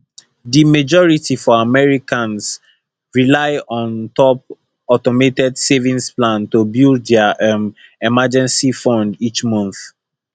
di majority for americans rely on top automated savings plans to build dia um emergency fund each month